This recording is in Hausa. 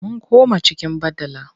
Mun koma cikin badala.